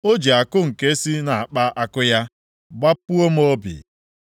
O ji àkụ nke si nʼakpa àkụ ya gbapuo m obi.